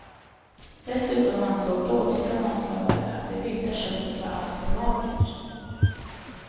Dessutom ansåg dåtida matlagare att det vilda köttet var alltför magert.